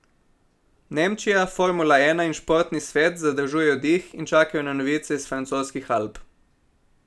Nemčija, formula ena in športni svet zadržujejo dih in čakajo na novice iz francoskih Alp.